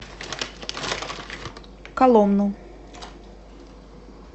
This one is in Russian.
коломну